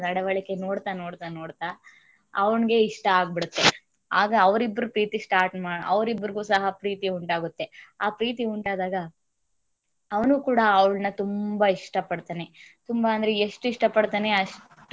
ನಡವಳಿಕೆ ನೋಡ್ತಾ~ ನೋಡ್ತಾ~ ನೋಡ್ತಾ ಅವ್ನಿಗೆ ಇಷ್ಟ ಆಗಬೀಡುತ್ತೇ ಆಗ ಅವರಿಬ್ಬರ ಪ್ರೀತಿ start ಅವರಿಬ್ಬರಿಗೂ ಸಹ ಪ್ರೀತಿ ಉಂಟಾಗುತ್ತೆ ಆ ಪ್ರೀತಿ ಉಂಟಾದಾಗ ಅವನು ಕೂಡ ಅವಳ ತುಂಬಾ ಇಷ್ಟ ಪಡ್ತಾನೆ ತುಂಬಾ ಅಂದ್ರೆ ಎಷ್ಟ ಇಷ್ಟ ಪಡ್ತಾನೇ ಅಂದ್ರೆ ಅಷ್ಟ ಇಷ್ಟ ಪಡ್ತಾನೆ ತುಂಬಾ ಅಂದ್ರೆ ಎಷ್ಟ